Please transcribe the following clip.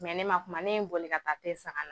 Mɛ ne ma kuma ne ye n boli ka taa te san.